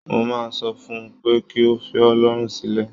Mo máa sọ fún un pé kí ó fi ọ́ lọ́rùn sílẹ̀